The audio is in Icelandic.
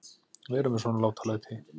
Vera með svona látalæti.